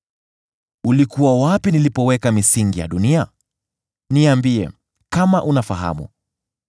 “Ulikuwa wapi nilipoweka misingi ya dunia? Niambie, kama unafahamu.